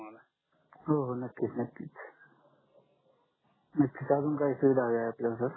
हो हो नक्कीच नक्कीच अजून काही सुविधा हवी आहे आपल्याला सर